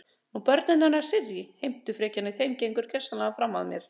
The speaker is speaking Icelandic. Nú börnin hennar Sirrý, heimtufrekjan í þeim gengur gersamlega fram af mér.